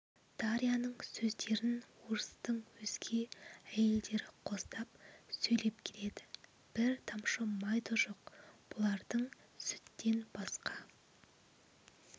дарьяның сөздерін орыстың өзге әйелдері қостап сөйлеп келеді бір тамшы май да жоқ бұлардың сүттен басқа